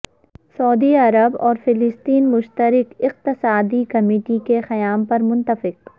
سعودی عرب اور فلسطین مشترکہ اقتصادی کمیٹی کے قیام پر متفق